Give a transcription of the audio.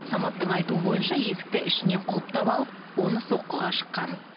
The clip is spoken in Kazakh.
саматтың айтуы бойынша есікті ішінен құлыптап алып оны соққыға жыққан